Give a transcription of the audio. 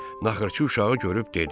Naxırçı uşağı görüb dedi: